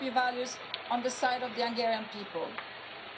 Sadly, much the same could be said about this Chamber.